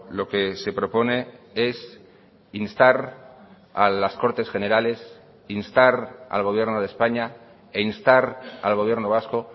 lo que se propone es instar a las cortes generales instar al gobierno de españa e instar al gobierno vasco